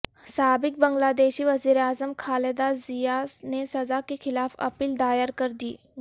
سابق بنگلہ دیشی وزیراعظم خالدہ ضیاء نے سزا کیخلاف اپیل دائر کر دی